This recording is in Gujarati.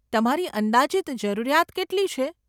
તમારી અંદાજીત જરૂરિયાત કેટલી છે?